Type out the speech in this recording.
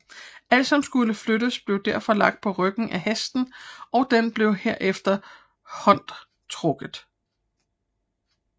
Alt som skulle flyttes blev derfor lagt på ryggen af hesten og den blev derefter hondtrukket